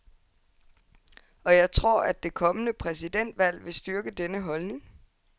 Og jeg tror, at det kommende præsidentvalg vil styrke denne holdning.